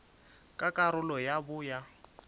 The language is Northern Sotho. ka karolo ya bo ya